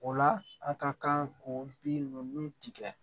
O la a ka kan k'o bin ninnu tigɛ